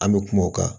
An bɛ kuma o kan